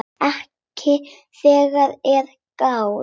Ekki þegar að er gáð.